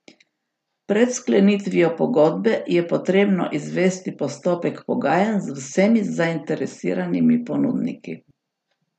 Pred sklenitvijo pogodbe je potrebno izvesti postopek pogajanj z vsemi zainteresiranimi ponudniki.